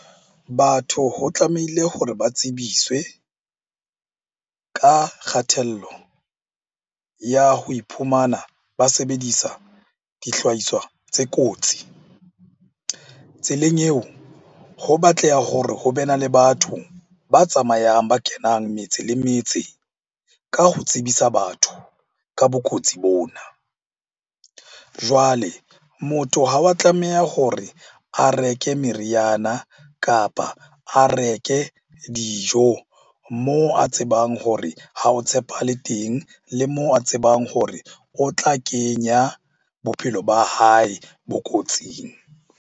Batho ho tlamehile hore ba tsebiswe ka kgathello ya ho iphumana ba sebedisa dihlahiswa tse kotsi. Tseleng eo ho batleha hore ho be na le batho ba tsamayang, ba kenang metse le metse ka ho tsebisa batho ka bokotsi bona. Jwale motho ha wa tlameha hore a reke meriana, kapa a reke dijo moo a tsebang hore ha o tshepahale teng. Le moo a tsebang hore o tla kenya bophelo ba hae bokotsing.